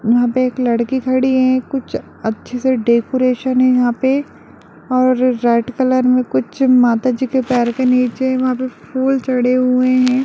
यहां पर एक लड़की खड़ी है कुछ अच्छा सा डेकोरेशन है यहाँ पे और डेर कलर कि कुछ माता जी के पैर के नीचे फुल चढ़े हुए हैं।